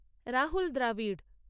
Rahul Dravid